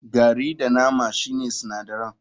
Gari da nama shine sinadaran.